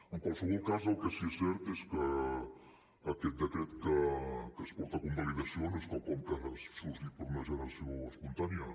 en qualsevol cas el que sí que és cert és que aquest decret que es porta a convalidació no és quelcom que hagi sorgit per una generació espontània